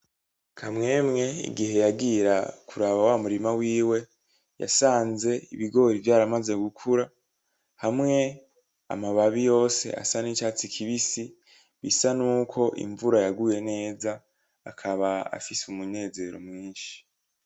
Kamwemwe igihe yagira kuraba wa murima wiwe yasanze ibigori vyaramaze gukura hamwe amababi yose asa n'icatsi kibisi bisa nuko invura yaguye neza akaba afise umunezero mwinshi.